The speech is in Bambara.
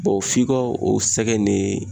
f'i ka o sɛgɛn in de